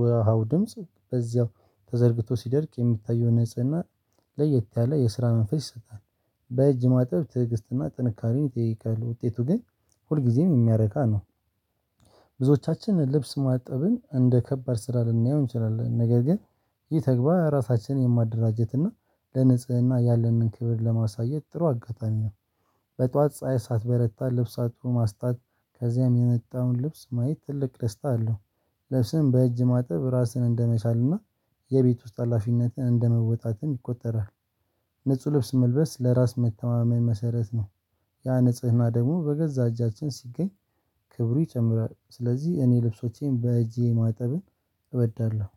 ውሃው ድምጽ በዚያው ተዘርግቶ ሲደርቅ የሚታየው ንጽህና ለየት ያለ የስራ መንፈስ ይሰጣል። በእጅ ማጠብ ትዕግስትና ጥንካሬውን ይጠይቃል ውጤቱ ግን ሁልጊዜም የሚያረካ ነው። ብዙዎቻችንን ልብስ ማጠብን እንደ ከባድ ስራ ልናየው እንችላለን ነገር ግን ይህ ተግባ እራሳችንን የማደራጀት እና ለንጽህና ያለንን ክብር ለማሳየት ጥሩ አጋጣሚ ነው። በጧት ፀሀይ ሳትበረታ ልብስ አጥቦ ማስጣት ከዚያም የነጣውን ልብስ ማየት ትልቅ ደስታ አለው። ልብስም በእጅ ማጥብ ራስህን እንደመቻልና የቤት ውስጥ አላፊነትን እንደመወጣትን ይቆጠራል። ንጹህ ልብስ መልበስ ለራስ መተማመን መሰረት ነው: ያ ንጽህና ደግሞ በገዛ እጃችን ሲገኝ ክብሩ ይጨምራል ስለዚህ እኔ ልብሶቼን በእጄ ማጠብን እበዳለሁ።